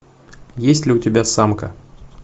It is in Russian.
есть ли у тебя самка